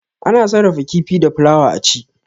Ana sarrafa kifi da fulawa a ci.